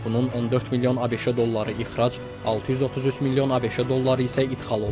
Bunun 14 milyon ABŞ dolları ixrac, 633 milyon ABŞ dolları isə idxal olub.